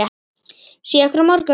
Sé ykkur á morgun.